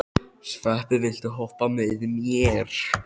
Sveppi, viltu hoppa með mér?